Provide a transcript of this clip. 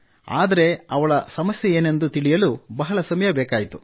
ಆದರೆ ಅವಳ ಸಮಸ್ಯೆಯೇನೆಂದು ತಿಳಿಯಲು ಸಮಯ ಬೇಕಾಯಿತು